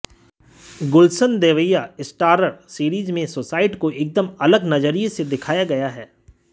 गुलशन Devaiah starrer series में suicide को एकदम अलग नजरिए से दिखाया गया है